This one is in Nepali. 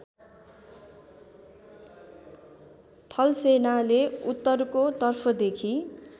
थलसेनाले उत्तरको तर्फदेखि